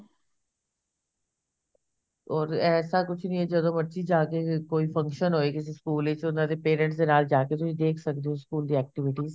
or ਐਸਾ ਕੁੱਛ ਨੀ ਐ ਜਦੋਂ ਮਰਜੀ ਜਾਕੇ ਕੋਈ function ਹੋਏ ਕਿਸੇ ਸਕੂਲ ਵਿੱਚ ਉਹਨਾ ਦੇ parents ਦੇ ਨਾਲ ਜਾਕੇ ਤੁਸੀਂ ਦੇਖ ਸਕਦੇ ਹੋ ਸਕੂਲ ਦੀ activities